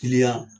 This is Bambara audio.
Kiliyan